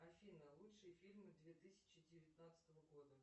афина лучшие фильмы две тысячи девятнадцатого года